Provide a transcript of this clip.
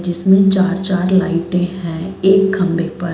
जिसमें चार-चार लाइटें हैं एक खम्भे पर।